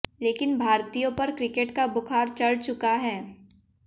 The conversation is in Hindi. लेकिन भारतीयों पर क्रिकेट का बुखार चढ़ चुका है